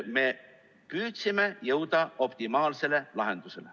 Me püüdsime jõuda optimaalsele lahendusele.